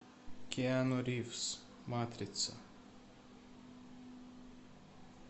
киану ривз матрица